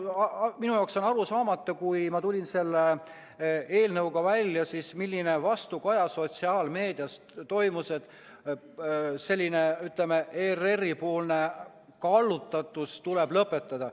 Minu jaoks oli arusaamatu, kui ma selle eelnõuga välja tulin, millist vastukaja sotsiaalmeedias anti, et selline ERR-i kallutatus tuleb lõpetada.